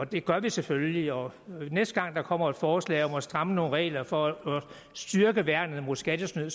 det gør vi selvfølgelig og næste gang der kommer et forslag om at stramme nogle regler for at styrke værnet mod skattesnyd